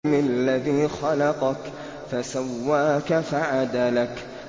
الَّذِي خَلَقَكَ فَسَوَّاكَ فَعَدَلَكَ